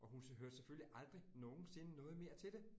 Og hun hørte selvfølgelig aldrig nogensinde noget mere til det